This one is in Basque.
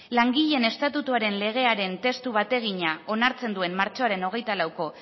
langileen estatutuaren legearen testu bategina onartzen duen martxoaren hogeita lauko